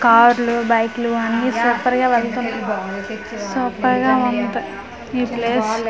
కార్లు బైక్ లు అన్నీ సూపర్ గా వెళుతున్నాయి సూపర్ గా ఉంది ఈ ప్లేస్ .